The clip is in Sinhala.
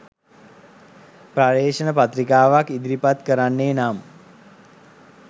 පර්යේෂණ පත්‍රිකාවක් ඉදිරි පත් කරන්නේ නම්